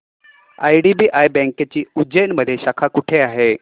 IDBI बँकेची उज्जैन मध्ये शाखा कुठे आहे